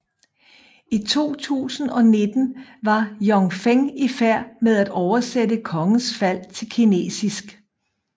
I 2019 var Jun Feng i færd med at oversætte Kongens Fald til kinesisk